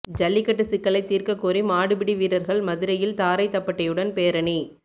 ஜல்லிக்கட்டு சிக்கலைத் தீர்க்கக் கோரி மாடு பிடி வீரர்கள் மதுரையில் தாரை தப்பட்டையுடன் பேரணி